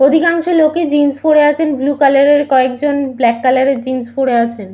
অধিকাংশ লোকের জিন্স পরে আছেন বুলু কালার এর কয়েকজন ব্ল্যাক কালার এর জিন্স পরে আছেন।